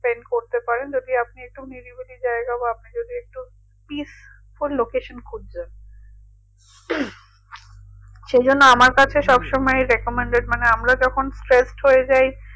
করতে পারেন যদি আপনি একটু নিরিবিলি জায়গা বা আপনি যদি একটু peaceful location খুঁজছে সেজন্য আমার কাছে সবসময় recommended মানে আমরা যখন stress হয়ে যাই